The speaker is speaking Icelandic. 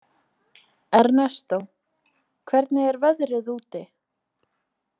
Ernestó, hvernig er veðrið úti?